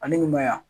Ani maya